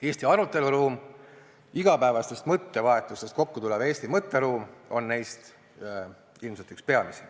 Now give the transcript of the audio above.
Eesti aruteluruum – igapäevasest mõttevahetusest kokku tulev Eesti mõtteruum – on neist ilmselt üks peamisi.